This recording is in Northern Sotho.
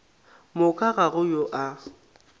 moka ga go yo a